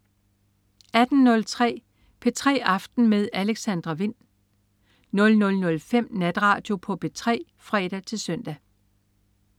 18.03 P3 aften med Alexandra Wind 00.05 Natradio på P3 (fre-søn)